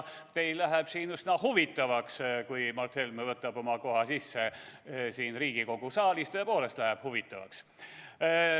Teil läheb siin üsna huvitavaks, kui Mart Helme võtab oma koha sisse siin Riigikogu saalis, tõepoolest läheb huvitavaks.